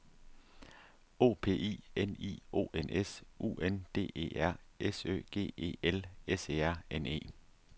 O P I N I O N S U N D E R S Ø G E L S E R N E